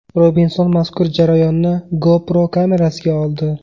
Robinson mazkur jarayonni GoPro kamerasiga oldi.